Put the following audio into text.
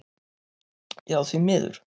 Já því miður.